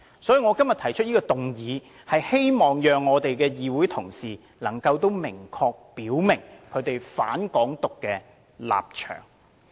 所以，我今天提出議案，希望議會同事能夠明確表明他們"反港獨"的立場。